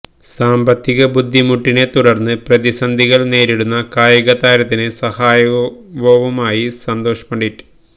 സാമ്പത്തിക ബുദ്ധിമുട്ടിനെ തുടര്ന്ന് പ്രതിസന്ധികള് നേരിടുന്ന കായികതാരത്തിന് സഹായവുമായി സന്തോഷ് പണ്ഡിറ്റ്